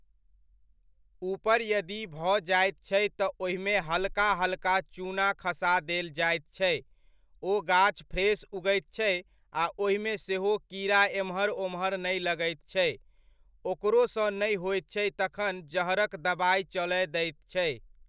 ऊपर यदि भऽ जाइत छै तऽ ओहिमे हल्का हल्का चूना खसा देल जाइत छै। ओ गाछ फ्रेश उगैत छै आ ओहिमे सेहो कीड़ा एम्हर ओम्हर नहि लगैत छै। ओकरोसँ नहि होइत छै तब जहरक दबाइ चलय दैत छै।